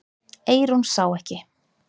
Eyrún sá ekki.